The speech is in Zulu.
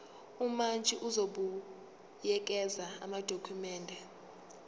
umantshi uzobuyekeza amadokhumende